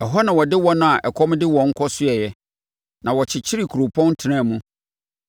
Ɛhɔ na ɔde wɔn a ɛkɔm de wɔn kɔsoɛe, na wɔkyekyeree kuropɔn tenaa mu.